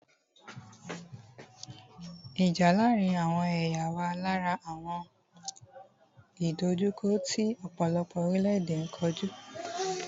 Ìjà láàárín àwọn ẹ̀yà wà lára àwọn ìdòjukọ́ tí ọ̀pọ̀lọpọ̀ orílẹ̀-èdè n kojú.